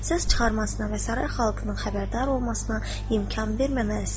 Səs çıxarmasına və saray xalqının xəbərdar olmasına imkan verməməlisiniz.